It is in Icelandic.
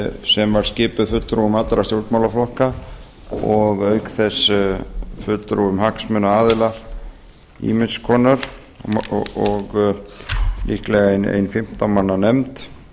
sem var skipuð fulltrúum allra stjórnmálaflokka og auk þess fulltrúum hagsmunaaðila ýmiss nánar og líklega ein fimmtán manna nefnd